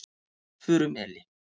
Furumeli